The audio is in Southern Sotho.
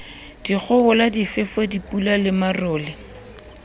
dikgohola difefo dipula le marole